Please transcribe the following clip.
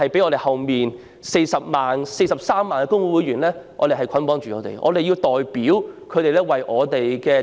我們是被43萬名工會會員捆綁着，因為我們要代表他們為"打工仔"服務。